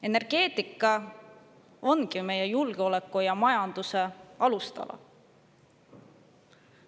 Energeetika ongi meie julgeoleku ja majanduse alustala.